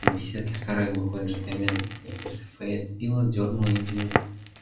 в беседке старый глухой джентльмен из фейетвилла дёрнул индию